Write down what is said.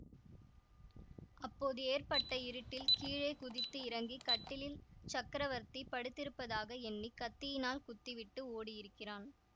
அப்போது ஏற்பட்ட இருட்டில் கீழே குதித்து இறங்கி கட்டிலில் சக்கரவர்த்தி படுத்திருப்பதாக எண்ணி கத்தியினால் குத்திவிட்டு ஓடியிருக்கிறான்